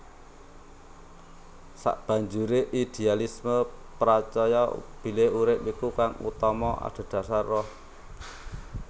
Sabanjure idealisme pracaya bilih urip iku kang utama adhedasar ruh